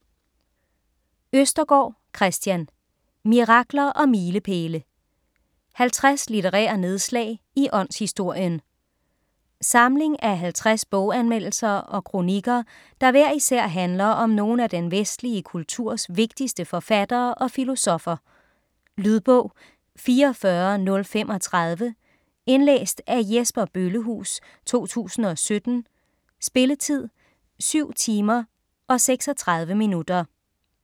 Østergaard, Kristian: Mirakler og milepæle: 50 litterære nedslag i åndshistorien Samling af 50 boganmeldelser og kronikker, der hver især handler om nogle af den vestlige kulturs vigtigste forfattere og filosoffer. Lydbog 44035 Indlæst af Jesper Bøllehuus, 2017. Spilletid: 7 timer, 36 minutter.